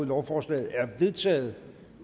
lovforslaget er vedtaget